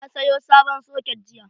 Na sayo sabon soket jiya.